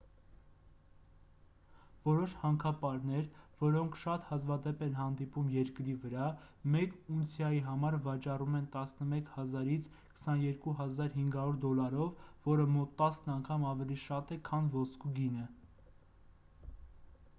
որոշ հանքապարներ որոնք շատ հազվադեպ են հանդիպում երկրի վրա մեկ ունցիայի համար վաճառվում են 11,000 - 22,500 դոլարով որը մոտ տասն անգամ ավելի շատ է քան ոսկու գինը